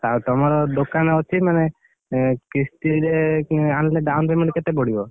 ଆଉ ତମର ଦୋକାନ ଅଛି ମାନେ, ଏଁ, କିସ୍ତିରେ କିଣି ଆଣିଲେ down payment କେତେ ପଡିବ?